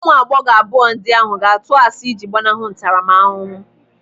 Ụmụ agbọghọ abụọ ndị ahụ ga-atụ asị ịji gbanahụ ntaramahụhụ.